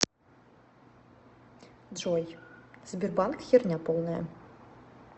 джой сбербанк херня полная